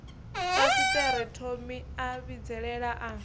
fasiṱere thomi a vhidzelela a